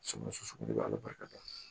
Sogo sɔsɔ de bɛ ala barika la